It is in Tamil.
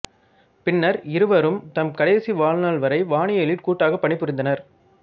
பின்னர் இருவரும் தம் கடைசி வாழ்நாள் வரை வானியலில் கூட்டாகப் பணிபுரிந்தனர்